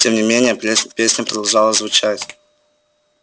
тем не менее песня продолжала звучать